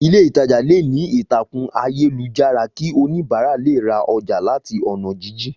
Ilé ìtajà leè ní ìtàkùn ayélujára ki oníbàárà le ra oja làti ònà jíjìn